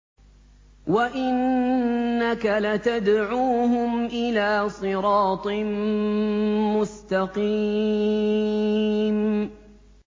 وَإِنَّكَ لَتَدْعُوهُمْ إِلَىٰ صِرَاطٍ مُّسْتَقِيمٍ